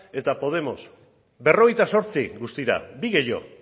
eta podemos berrogeita zortzi guztira bi gehiago